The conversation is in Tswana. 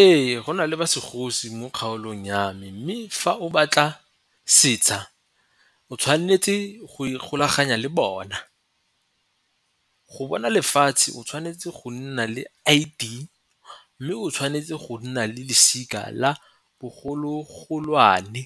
Ee, go na le ba segosi mo kgaolong ya me mme fa o batla setsha o tshwanetse go ikgolaganya le bona. Go bona lefatshe o tshwanetse go nna le I_D mme o tshwanetse go nna le losika la bogolo-golwane